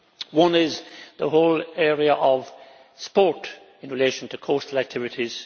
One is the whole area of sport in relation to coastal activities.